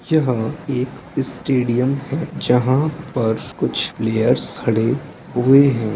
यह एक स्टेडियम है जहाँ पर कुछ प्लेयर्स खड़े हुए है।